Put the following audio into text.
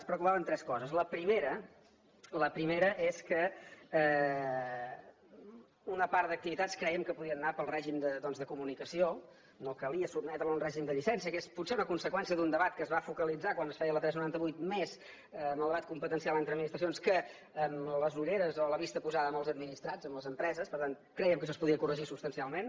ens preocupaven tres coses la primera la primera és que una part d’activitats crèiem que podien anar pel règim doncs de comunicació no calia sotmetre la a un règim de llicència que és potser una conseqüència d’un debat que es va focalitzar quan es feia la tres noranta vuit més en el debat competencial entre administracions que amb les ulleres o la vista posada en els administrats les empreses per tant crèiem que això es podia corregir substancialment